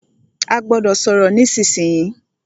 A gbọ́dọ̀ sọ̀rọ̀ nísìsiyìí!